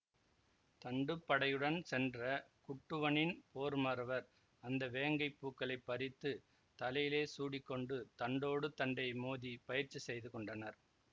தண்டுப்படையுடன் சென்ற குட்டுவனின் போர்மறவர் அந்த வேங்கைப் பூக்களைப் பறித்து தலையிலே சூடிக்கொண்டு தண்டோடு தண்டை மோதிப் பயிற்சி செய்துகொண்டனர்